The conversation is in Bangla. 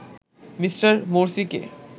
মিঃ মোরসিকে